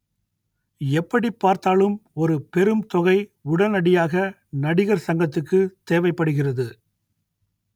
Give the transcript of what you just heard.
எப்படிப் பார்த்தாலும் ஒரு பெரும் தொகை உடனடியாக நடிகர் சங்கத்துக்கு தேவைப்படுகிறது